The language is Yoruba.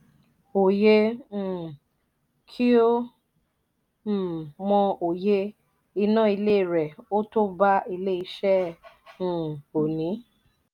òye um kí ó um mọ òye iná ilé rẹ ò to bá ilé ìṣe um òní.